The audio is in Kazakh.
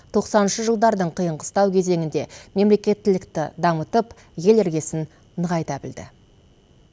тоқсаныншы жылдардың қиын қыстау кезеңінде мемлекеттілікті дамытып ел іргесін нығайта білді